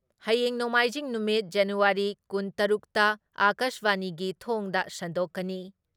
ꯍꯌꯦꯡ ꯅꯣꯡꯃꯥꯏꯖꯤꯡ ꯅꯨꯃꯤꯠ ꯖꯅꯨꯋꯥꯔꯤ ꯀꯨꯟ ꯇꯔꯨꯛꯇ ꯑꯀꯥꯁꯕꯥꯅꯤꯒꯤ ꯊꯣꯡꯗ ꯁꯟꯗꯣꯛꯀꯅꯤ ꯫